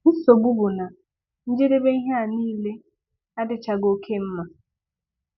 Nsogbu bụ na njedebe ihe a niile adịchaghị oke mma.